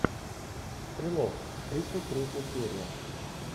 стрелок тридцать третья серия